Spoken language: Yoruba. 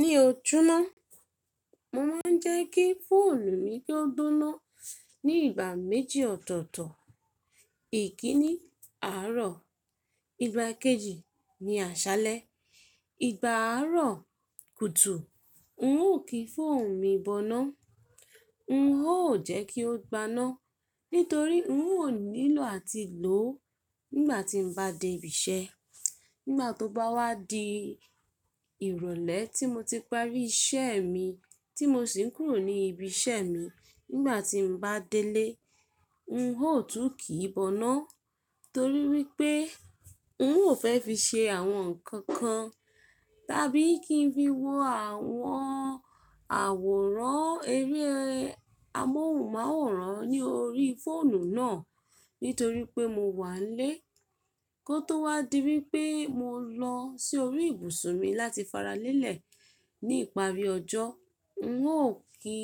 Mí ọ jọ́ná, mo máa ń jẹ́ kí fóònù mi kì o gbóná ní ìgbà méjì ọ̀tọ̀ọ̀tọ̀. Ìkíni àárọ̀, ìgbà kejì ni àṣálẹ́. Ìgbà àárọ̀ kùtù, n ò kí fóònù mi bọ́ná, n ó jẹ́ kí ó gbaná, nítorí n ò nílò àti lò ó nígbà tí mo bá dé ibi iṣẹ́. Nígbà tó bá wá di ìrọ̀lẹ́ tí mo ti parí iṣẹ́ mi tí mo sì ń kúrò ní ibi iṣẹ́ mi, nígbà tí n bá délé, n ó tún kì í bọ́ná torí wípé n ò fẹ́ fi ṣe àwọn ǹkan kan tàbí kí n fi wo àwọn àwòrán, eré amóhùnmáwòrán ní orí fóònù náà nítorí pé mo wà n lé. Kó tó wá di wípé mo lọ sí orí ibùsùn mi láti faralẹ́lẹ̀ ní ìparí ọjọ́, n ó kí